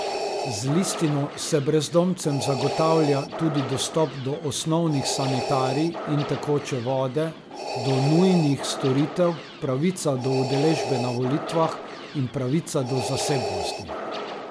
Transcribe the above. Z listino se brezdomcem zagotavlja tudi dostop do osnovnih sanitarij in tekoče vode, do nujnih storitev, pravica do udeležbe na volitvah in pravica do zasebnosti.